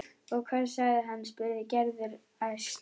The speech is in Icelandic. Og hvað sagði hann? spurði Gerður æst.